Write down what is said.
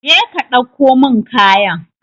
Je ka dauko min kayan.